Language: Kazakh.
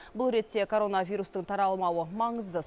бұл ретте коронавирустың таралмауы маңызды